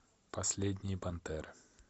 последние пантеры